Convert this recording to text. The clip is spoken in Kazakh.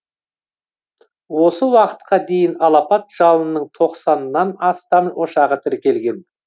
осы уақытқа дейін алапат жалынның тоқсаннан астам ошағы тіркелген